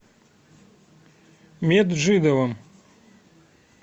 меджидовым